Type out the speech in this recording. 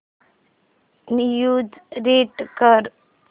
news read कर